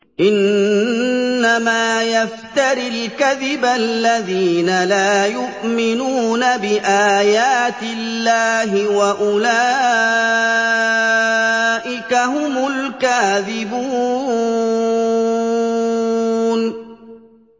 إِنَّمَا يَفْتَرِي الْكَذِبَ الَّذِينَ لَا يُؤْمِنُونَ بِآيَاتِ اللَّهِ ۖ وَأُولَٰئِكَ هُمُ الْكَاذِبُونَ